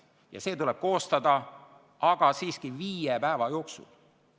Kuid see tuleb koostada viie päeva jooksul.